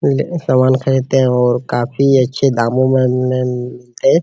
ले सामान खरीदते हैं और काफी अच्छे दामों में न .